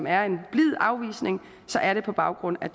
er en blid afvisning er det på baggrund af